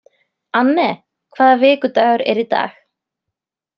Anne, hvaða vikudagur er í dag?